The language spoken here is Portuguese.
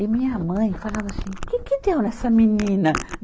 E minha mãe falava assim, o que que deu nessa menina?